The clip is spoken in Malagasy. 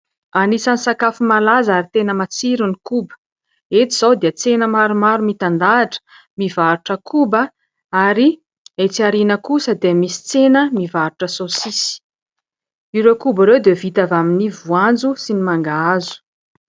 Anisany sakafo malaza Ary tena matsiro ny koba. Eto izao dia tsena maromaro mitan-dahatra mivarotra koba ary etsy aoriana kosa dia misy tsena mivarotra saosisy. Ireo koba ireo dia vita avy amin'ny voanjo sy ny mangahazo